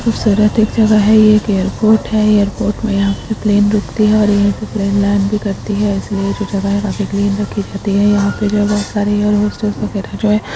खूबसूरत एक जगा है एक एयरपोर्ट है एयरपोर्ट पे यहा प्लेन रुकती है और यहा पे प्लेन लाँड़ भी करती है इसलिए वो जगह काफी क्लीन रखी रहती है यहा पे जो है बहुत सारे एयर होस्टेस वगेरा जो है।